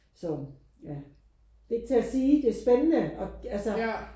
Som ja det er ikke til at sige det er spændende og altså